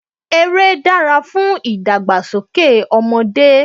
eré dára fún ìdàgbàsókè ọmọdé